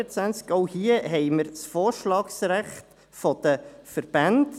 Auch hier haben wir das Vorschlagsrecht der Verbände.